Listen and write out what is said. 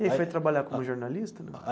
E aí foi trabalhar como jornalista não?